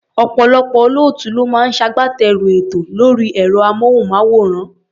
Ọ̀pọ̀lọpọ̀ olóòtú ló máa ń ṣagbátẹrù ètò lórí ẹ̀rọ-amóhùnmáwòrán.